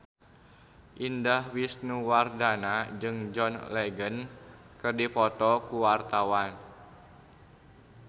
Indah Wisnuwardana jeung John Legend keur dipoto ku wartawan